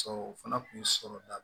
Sɔrɔ o fana kun ye sɔrɔ da